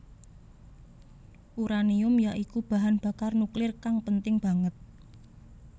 Uranium ya iku bahan bakar nuklir kang penting banget